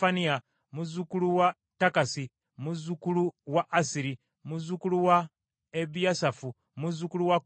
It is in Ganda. muzzukulu wa Takasi, muzzukulu wa Assiri, muzzukulu wa Ebiyasaafu, muzzukulu wa Koola,